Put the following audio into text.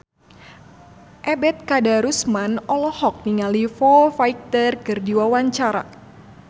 Ebet Kadarusman olohok ningali Foo Fighter keur diwawancara